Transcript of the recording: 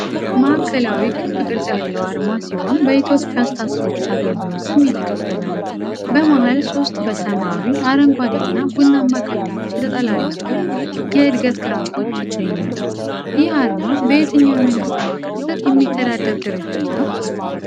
ማዕከላዊ ክብ ቅርጽ ያለው አርማ ሲሆን በኢትዮጵያ ስታቲስቲክስ አገልግሎት ስም የተከበበ ነው። በመሃል ሶስት በሰማያዊ፣ አረንጓዴና ቡናማ ቀለሞች የተጠላለፉ የእድገት ግራፎች ይገኛሉ። ይህ አርማ በየትኛው የመንግስት መዋቅር ስር የሚተዳደር ድርጅት ነው?